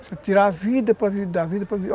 Você tira a vida.